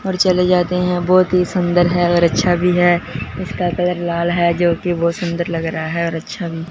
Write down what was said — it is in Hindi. और चले जाते हैं बहुत ही सुंदर है और अच्छा भी है इसका कलर लाल है जो कि बहुत सुंदर लग रहा है और अच्छा भी।